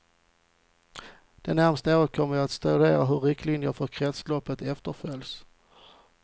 Det närmaste året kommer vi att studera hur riktlinjerna för kretsloppet efterföljs.